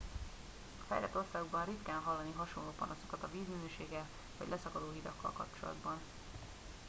a fejlett országokban ritkán hallani hasonló panaszokat a vízminőséggel vagy leszakadó hidakkal kapcsolatban